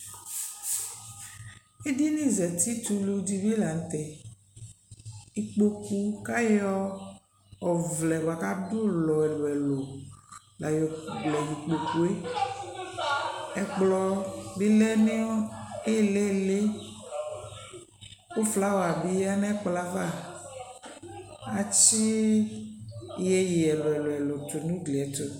Edini zeti t'ulu di bi la n'tɛ, ikpoku k'ayɔ ɔʋlɛ bu k'adu'lɔ ɛlu ɛlu la y'okele ikpokue Ɛkplɔ bi lɛ nu ili lɩ, ku flawa bi yǝ n'ɛkplɔ'ɛ ava Atsi yeye ɛlu ɛlu tu n'ugli ' ɛtu